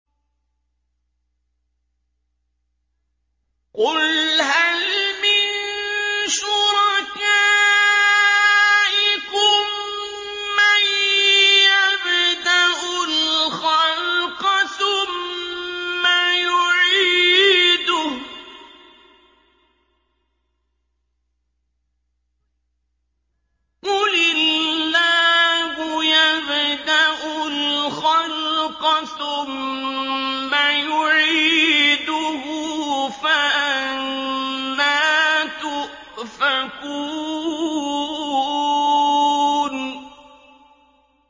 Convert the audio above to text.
قُلْ هَلْ مِن شُرَكَائِكُم مَّن يَبْدَأُ الْخَلْقَ ثُمَّ يُعِيدُهُ ۚ قُلِ اللَّهُ يَبْدَأُ الْخَلْقَ ثُمَّ يُعِيدُهُ ۖ فَأَنَّىٰ تُؤْفَكُونَ